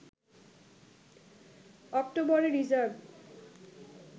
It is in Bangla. অক্টোবরে রিজার্ভ